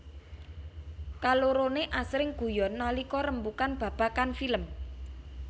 Kaloroné asring guyon nalika rembugan babagan film